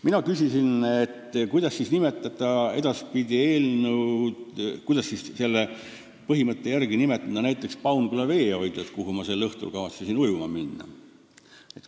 Mina küsisin, kuidas siis edaspidi nimetada eelnõu põhimõtte järgi näiteks Paunküla veehoidlat, kuhu ma sel õhtul kavatsesin ujuma minna.